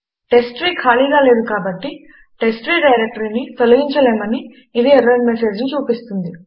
టెస్ట్రీ ఖాళీగా లేదు కాబట్టి టెస్ట్రీ డైరెక్టరీని తొలగించలేమని ఇది ఎర్రర్ మెసేజ్ ను చూపిస్తుంది